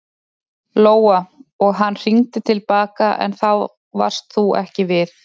Lóa: Og hann hringdi til baka en þá varst þú ekki við?